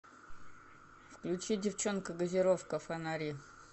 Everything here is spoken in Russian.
включи девчонка газировка фонари